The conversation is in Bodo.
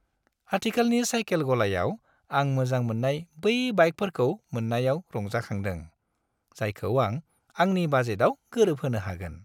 खाथिखालानि साइकेल गलायाव आं मोजां मोन्नाय बै बाइकफोरखौ मोन्नायाव रंजाखांदों, जायखौ आं आंनि बाजेटआव गोरोबहोनो हागोन।